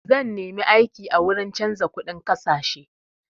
Zan nemi aiki a wuri canza kuɗin ƙasashe.